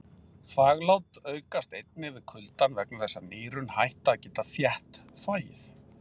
Þvaglát aukast einnig við kuldann vegna þess að nýrun hætta að geta þétt þvagið.